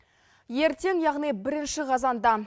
ертең яғни бірінші қазанда